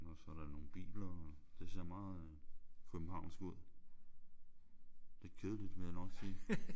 Og så er der nogle biler og det ser meget øh københavnsk ud. Lidt kedeligt vil jeg nok sige